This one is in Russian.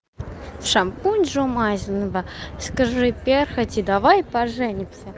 шампунь жумайсынба скажи перхоти давай поженимся